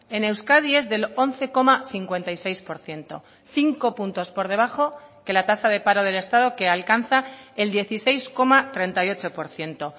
en euskadi es del once coma cincuenta y seis por ciento cinco puntos por debajo que la tasa de paro del estado que alcanza el dieciséis coma treinta y ocho por ciento